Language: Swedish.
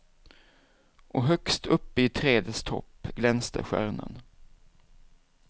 Och högst uppe i trädets topp glänste stjärnan.